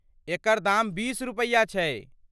एकर दाम बीस रुपैया छै ।